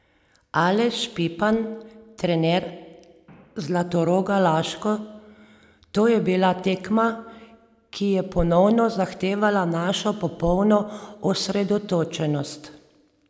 Aleš Pipan, trener Zlatoroga Laško: "To je bila tekma, ki je ponovno zahtevala našo popolno osredotočenost.